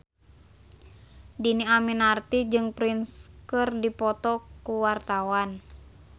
Dhini Aminarti jeung Prince keur dipoto ku wartawan